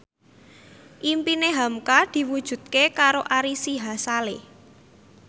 impine hamka diwujudke karo Ari Sihasale